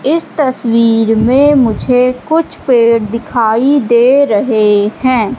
इस तस्वीर में मुझे कुछ पेड़ दिखाई दे रहे हैं।